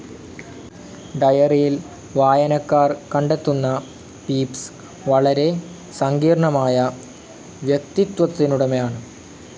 ഡയറിയിൽ വായനക്കാർ കണ്ടെത്തുന്ന പീപ്സ്‌ വളരെ സങ്കീർണമായ വ്യക്തിത്വത്തിനുടമയാണ്.